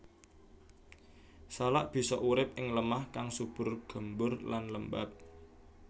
Salak bisa urip ing lemah kang subur gembur lan lembab